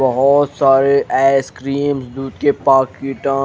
बहोत सारे आइसक्रीम दूध के पाकिट --